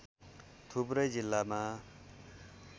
थुप्रै जिल्लामा